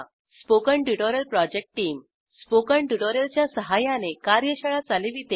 spoken tutorial project team spoken tutorial च्या सहाय्याने कार्यशाळा चालविते